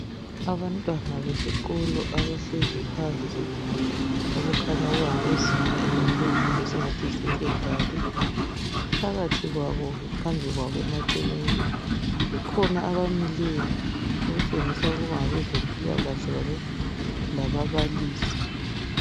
Abantwana besikolo abahlezi phansi okukhanya kungabezinga elaphezulu esingathi yisecondary phakathi kwabo phambi kwabo emaceleni kukhona abamileyo okutshengisela ukuba ngabezempilakahle kanye lababalisi.